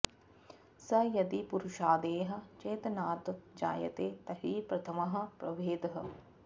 स यदि पुरुषादेः चेतनात् जायते तर्हि प्रथमः प्रभेदः